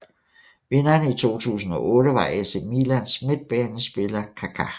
Vinderen i 2008 var AC Milans midtbanespiller Kaká